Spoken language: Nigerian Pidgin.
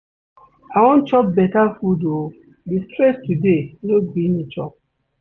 I wan chop beta food o, di stress today no gree me chop.